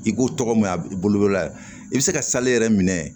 I k'o tɔgɔ mɛn a bolo la i bɛ se ka yɛrɛ minɛ